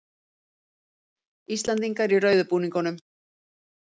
Íslendingar í rauðu búningunum